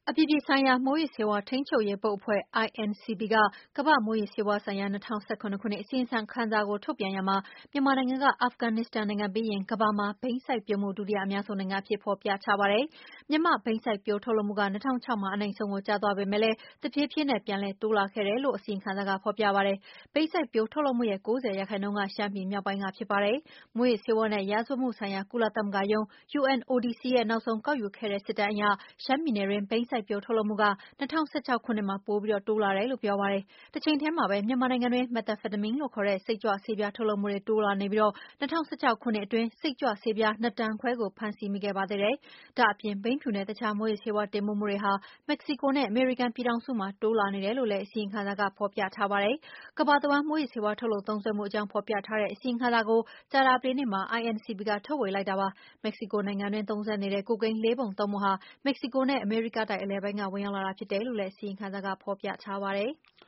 အပြည်ပြည်ဆိုင်ရာ မူးယစ်ဆေးဝါး ထိန်းချုပ်ရေးဘုတ်အဖွဲ့က ကမ္ဘာ့မူးယစ်ဆေးဝါးဆိုင်ရာ ၂၀၁၇ အစီရင်ခံစာကို ထုတ်ပြန်ရာမှာ မြန်မာနိုင်ငံက အာဖဂန်နစ္စတန်နိုင်ငံပြီးရင် ကမ္ဘာမှာ ဘိန်းစိုက်ပျိုးူမှု ဒုတိယအများဆုံးနိုင်ငံအဖြစ်ဖော်ပြထားပါတယ်။ မြန်မာ့ ဘိန်းစိုက်ပျိုးမှုဟာ ၂၀၀၆ မှာ အနိမ့်ဆုံးကို ကျသွားပေမယ့် တဖြည်းဖြည်းနဲ့ ပြန်တိုးလာနေခဲ့တယ်လို့ အစီရင်ခံစာက ဖော်ပြပါတယ်။ ဘိန်းစိုက်ပျိုးထုတ်လုပ်မှုရဲ့ ၉၀ ရာခိုင်နှုန်းက ရှမ်းပြည်မြောက်ပိုင်းကဖြစ်ပါတယ်။ မူးယစ်ဆေးဝါးနဲ့ ရာဇဝတ်မှုဆိုင်ရာ ကုလသမဂ္ဂရုံး UNODC ရဲ့ နောက်ဆုံးကောက်ယူခဲ့တဲ့စစ်တမ်းအရ ရှမ်းပြည်နယ်တွင်းဘိန်းစိုက်ပျိုးထုတ်လုပ်မှုက ၂၀၁၆ မှာပိုတိုးလာတယ်လို့ ဆိုထားပါတယ်။ တချိန်ထဲမှာပဲ မြန်မာနိုင်ငံတွင်း မက်သာဖက်သာမင်းလို့ခေါ်တဲ့ စိတ်ကြွဆေးပြားထုတ်လုပ်မှုတွေ တိုးလာနေပြီး ၂၀၁၆ ခုနှစ်အတွင်းစိတ်ကြွးဆေးပြား ၂တန်ခွဲကို ဖမ်းဆီးမိခဲ့ပါသေးတယ်။ ဒါ့အပြင် ဘိန်းဖြူနဲ့ fentanyl လို့ခေါ်တဲ့ မူးယစ်ဆေးဝါး တင်ပို့မှုတွေဟာ Mexico နဲ့ အမေရိကန်ပြည်ထောင်စုမှာ တိုးပွါးလာနေတယ်လို့ အစီရင်ခံစာက ဖော်ပြပါတယ်။ကမ္ဘာတဝှမ်း မူးယစ်ဆေးဝါး ထုတ်လုပ်သုံးစွဲမှုအကြောင်းအသေးစိတ် ဖော်ပြထားတဲ့အစီရင်ခံစာကို ကြာသပတေးနေ့မှာ INCB ကထုတ်ဝေလိုက်တာပါ။ Mexico နိုင်ငံတွင်းသုံးစွဲနေတဲ့ ကိုကိန်း လေးပုံ သုံးပုံဟာ Mexico နဲ့ အမေရိကတိုက်အလယ်ပိုင်းက ဝင်ရောက်လာတာဖြစ်တယ်လို့လည်း အစီရင်ခံစာကဖော်ပြပါတယ်။